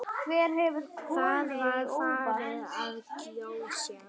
Það var farið að gjósa.